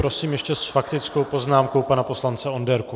Prosím ještě s faktickou poznámkou pana poslance Onderku.